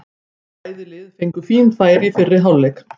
Bæði lið fengu fín færi í fyrri hálfleik.